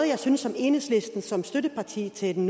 jeg synes enhedslisten som støtteparti til den